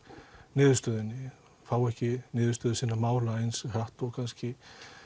niðurstöðu fá ekki niðurstöðu sinna mála eins hratt og kannski